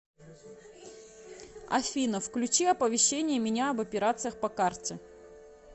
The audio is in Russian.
афина включи оповещение меня об операциях по карте